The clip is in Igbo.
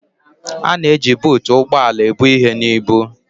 A na-eji buutu ụgbọ ala ebu ihe na ibu.